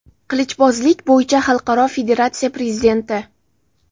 qilichbozlik bo‘yicha Xalqaro federatsiya prezidenti.